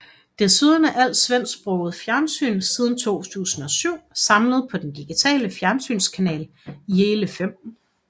Desuden er alt svensksproget fjernsyn siden 2007 samlet på den digitale fjernsynskanal Yle Fem